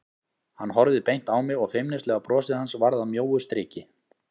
Hann horfði beint á mig og feimnislega brosið hans varð að mjóu striki.